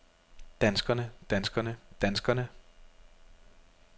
danskerne danskerne danskerne